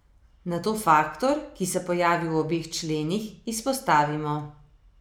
Nato faktor, ki se pojavi v obeh členih, izpostavimo.